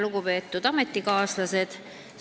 Lugupeetud ametikaaslased!